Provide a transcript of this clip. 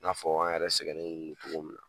N'a fɔ an yɛrɛ sɛgɛnnen cogo min na